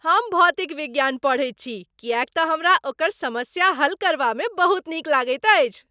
हम भौतिक विज्ञान पढ़ैत छी किएक तऽ हमरा ओकर समस्या हल करबामे बहुत नीक लगैत अछि।